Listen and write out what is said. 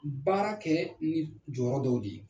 Baara kɛ ni d jɔrɔ dɔw de ye